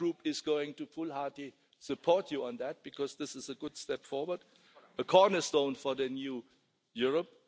My Group is going to full-heartedly support you on that because this is a good step forward, a cornerstone for the new Europe.